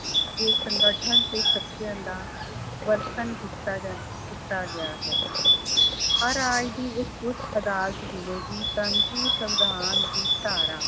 ਇਹ ਸੰਗਠਨ ਤੇ ਸ਼ਕਤੀਆਂ ਦਾ ਵਰਤਣ ਕੀਤਾ ਜਾਂ ਕੀਤਾ ਗਿਆ ਹੈ ਹਰ ਰਾਜ ਦੀ ਇੱਕ ਉੱਚ ਅਦਾਲਤ ਹੋਵੇਗੀ ਪਰੰਤੂ ਸਵਿਧਾਨ ਦੀ ਧਾਰਾ